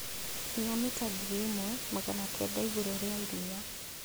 Kinya mita ngiri ĩmwe magana kenda igũrũ rĩa iria